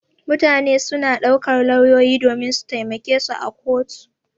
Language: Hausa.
Mutane suna ɗaukar lauyoyi domin su taimake su a kotu.